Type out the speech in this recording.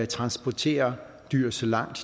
transporterer dyr så langt